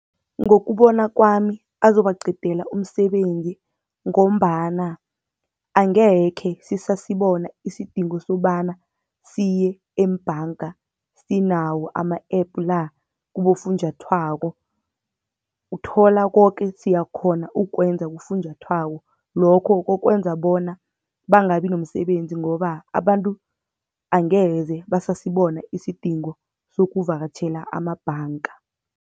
Ngokubona kwami azobaqedela umsebenzi, ngombana angekhe sisasibona isidingo sokobana siye embhanga, sinawo ama-app la kibofunjathwako. Uthola koke, siyakghona ukukwenza kufunjathwako lokho kokwenza bona bangabi nomsebenzi, ngoba abantu angeze basasibona isidingo sokuvakatjhela amabhanga.